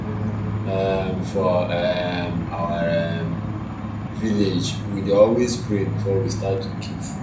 um for um our um village we dey always pray before we start to keep food